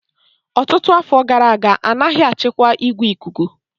Ọtụtụ afọ gara aga, a naghị achịkwa igwe ikuku